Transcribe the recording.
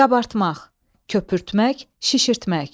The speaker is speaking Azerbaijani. Qabartmaq, köpürtmək, şişirtmək.